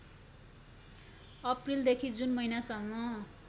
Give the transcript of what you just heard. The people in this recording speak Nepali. अप्रिलदेखि जुन महिनासम्म